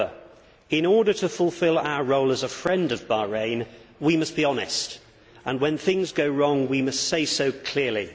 However, in order to fulfil our role as a friend of Bahrain we must be honest and when things go wrong we must say so clearly.